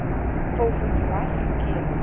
volgens ras gekeur